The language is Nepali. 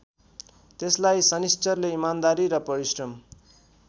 त्यसलाई शनिश्चरले इमानदारी र परिश्रम